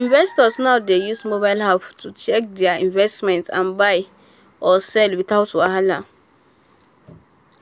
investors now dey use mobile apps to check their investment and buy or sell without wahala.